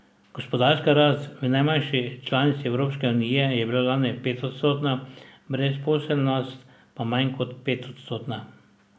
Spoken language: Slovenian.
Gospodarska rast v najmanjši članici Evropske unije je bila lani petodstotna, brezposelnost pa manj kot petodstotna.